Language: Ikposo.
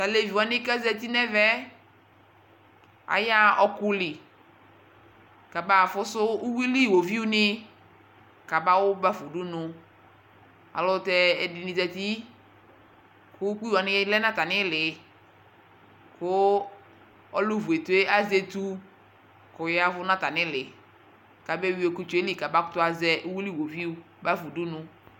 Tu alevi wani ku aza uti nu ɛvɛ ayaɣa ɔkuli kaba afusu uyuili iɣoviu ni kabawu bafa udunu Ayelutɛ ɛdini zati ku ukpi wani lɛ nu atamili ku ɔlu vu etu yɛ azɛ etu ku ɔya ɛvu nu atamili kaba eyui ɔkutsɛ yɛ li kabakutuazɛ uyuili iɣoviu bafa udunu